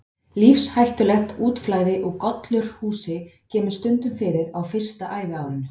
Lífshættulegt útflæði úr gollurshúsi kemur stundum fyrir á fyrsta æviárinu.